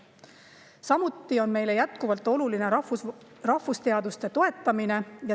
Samuti on meile jätkuvalt oluline rahvusteaduste toetamine.